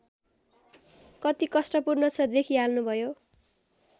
कति कष्टपूर्ण छ देखिहाल्नुभयो